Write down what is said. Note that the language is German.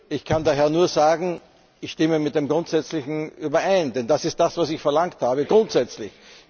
Ich kann daher nur sagen, ich stimme mit dem grundsätzlich überein, denn das ist das, was ich verlangt habe grundsätzlich.